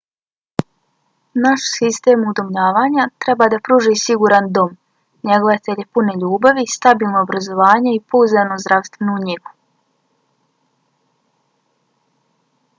naš sistem udomljavanja treba da pruži siguran dom njegovatelje pune ljubavi stabilno obrazovanje i pouzdanu zdravstvenu njegu